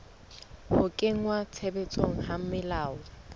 ho kenngwa tshebetsong ha melao